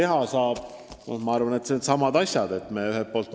Ma arvan, et vajalikud on needsamad asjad, mis juba jutuks on olnud.